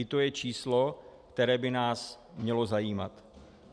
I to je číslo, které by nás mělo zajímat.